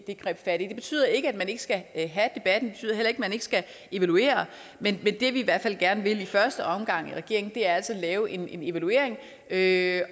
greb fat i det betyder ikke at man ikke skal ikke at man ikke skal evaluere men det vi i hvert fald gerne vil i første omgang i regeringen er altså at lave en evaluering og have